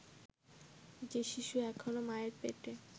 যে শিশু এখনও মায়ের পেটে